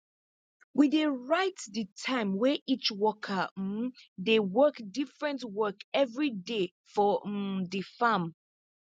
um we dey write di time wey each worker um dey work diffirent work evriday for um di farm